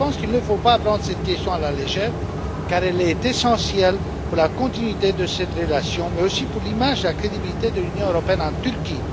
Je pense qu'il ne faut pas prendre cette question à la légère, car elle est essentielle pour la continuité de cette relation, mais aussi pour l'image et la crédibilité de l'Union européenne en Turquie.